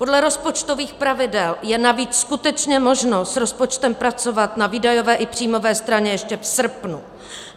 Podle rozpočtových pravidel je navíc skutečně možno s rozpočtem pracovat na výdajové i příjmové straně ještě v srpnu.